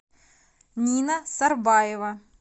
нина сарбаева